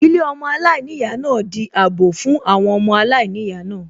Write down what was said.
Ilé ọmọ aláìníyàá náà di àbọ̀ fún àwọn ọmọ aláìníyàá náà